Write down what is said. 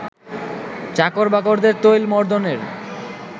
চাকর-বাকরদের তৈলমর্দনের